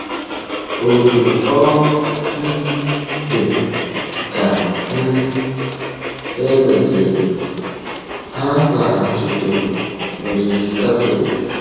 Otú ọ um dị, ka um e mesịrị, ha laghachitụrụ n’ozizi Katọlik.